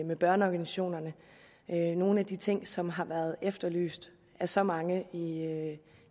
med børneorganisationerne det er nogle af de ting som har været efterlyst af så mange